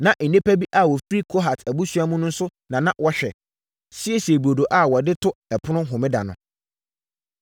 Na nnipa bi a wɔfiri Kohat abusua mu nso na na wɔhwɛ, siesie burodo a wɔde to ɛpono Homeda no.